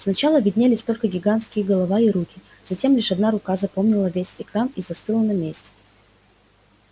сначала виднелись только гигантские голова и руки затем лишь одна рука заполнила весь экран и застыла на месте